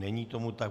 Není tomu tak.